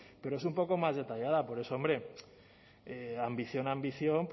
pero es un poco más detallada por eso hombre ambición ambición